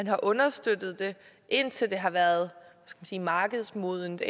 har understøttet det indtil det har været markedsmodnet